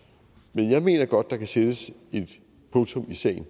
men jeg mener godt at der kan sættes et punktum i sagen